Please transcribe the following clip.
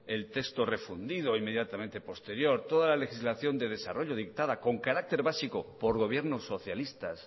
el texto refundido inmediatamente posterior toda la legislación de desarrollo dictada con carácter básico por gobiernos socialistas